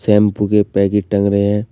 Shampoo के packet टंग रहे हैं।